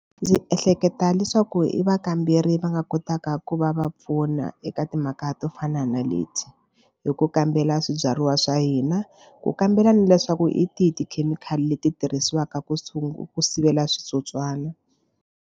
Ndzi ehleketa leswaku i vakamberi va nga kotaka ku va va pfuna eka timhaka to fana na leti hi ku kambela swibyariwa swa hina ku kambela ni leswaku hi tihi tikhemikhali leti tirhisiwaka ku sivela switsotswana.